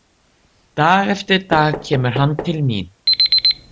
Dag eftir dag kemur hann til mín.